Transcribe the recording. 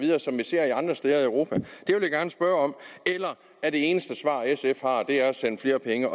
andre steder i europa eller er det eneste svar sf har send flere penge